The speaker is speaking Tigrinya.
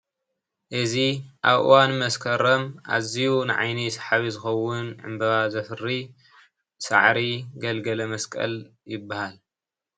እዚ ኣብ እዋን መስከረም ኣዝዩ ንዓይኒ ሰሓቢ ዝኸውን ዕንባባ ዘፍሪ ሳዕሪ ገልገለ መስቀል ይበሃል::